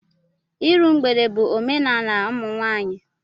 Iru mgbede bụ omenala ụmụnwaanyị